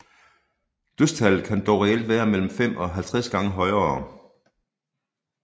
Dødstallet kan dog reelt være mellem 5 og 50 gange højere